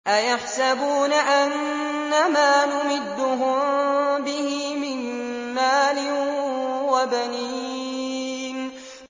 أَيَحْسَبُونَ أَنَّمَا نُمِدُّهُم بِهِ مِن مَّالٍ وَبَنِينَ